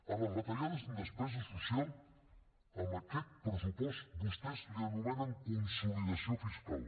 a les retallades en despesa social en aquest pressupost vostès ho anomenen consolidació fiscal